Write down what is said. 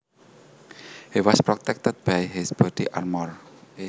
He was protected by his body armour